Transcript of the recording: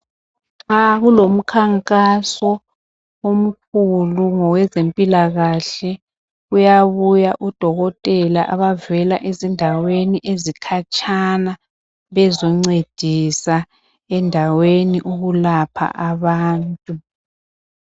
Nxa kulomkhankaso omkhulu ngokwezempilakahle kuyabuya odokotela abavela ezindaweni ezikhatshana bezoncedisa endaweni ukulapha abantu.